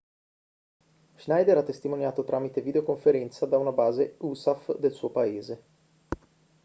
schneider ha testimoniato tramite videoconferenza da una base usaf del suo paese